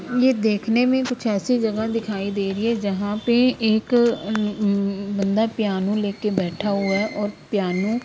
यह देखने में कुछ ऐसी जगह दिखाई दे रही है जहां पे एक उम उम उम बंदा प्यानो लेके बैठा हुआ है और प्यानो --